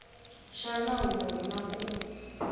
xa nawu lowu na ku